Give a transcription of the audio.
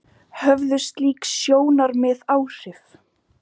Höfðu slík sjónarmið áhrif?